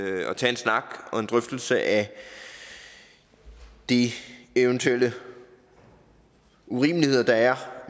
snak og en drøftelse af de eventuelle urimeligheder der er